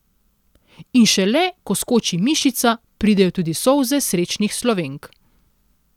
In šele, ko skoči mišica, pridejo tudi solze srečnih Slovenk.